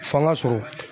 Fɔ an ga sɔrɔ